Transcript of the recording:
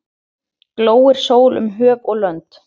Glóir sól um höf og lönd.